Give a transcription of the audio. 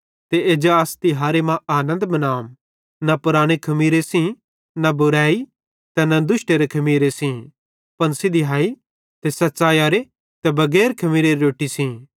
ते एज्जा अस तिहारे मां आनन्द मनाम न पुराने खमीरे सेइं न बुरेई ते दुष्टरे खमीरे सेइं पन सिधीयैई ते सच़ैइयरे बगैर खमीरेरे रोट्टी सेइं